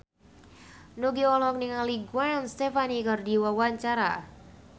Nugie olohok ningali Gwen Stefani keur diwawancara